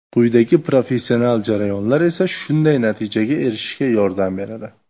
Quyidagi professional jarayonlar esa shunday natijaga erishishga yordam beradi.